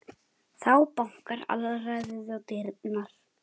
Þá bankar alræðið á dyrnar.